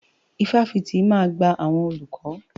Ifáfitì máa gba àwọn olùkọ́.